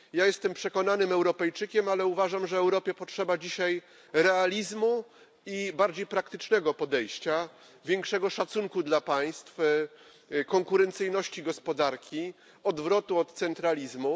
Ja jestem przekonanym Europejczykiem, ale uważam, że Europie potrzeba dzisiaj realizmu i bardziej praktycznego podejścia, większego szacunku dla państw, konkurencyjności gospodarki, odwrotu od centralizmu.